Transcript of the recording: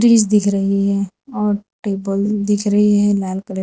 trees दिख रही हैं और टेबल दिख रही हैं लाल कलर --